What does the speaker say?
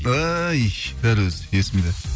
ай дәл өзі есімде